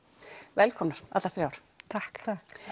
velkomnar allar þrjár takk